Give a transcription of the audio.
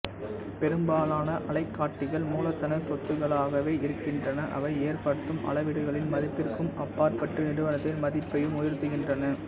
பெரும்பாலான அலைக்காட்டிகள் மூலதன சொத்துக்களாகவே இருக்கின்றன அவை ஏற்படுத்தும் அளவீடுகளின் மதிப்பிற்கும் அப்பாற்பட்டு நிறுவனத்தின் மதிப்பையும் உயர்த்துகின்றன